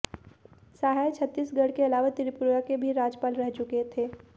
सहाय छत्तीसगढ़ के अलावा त्रिपुरा के भी राज्यपाल रह चुके थे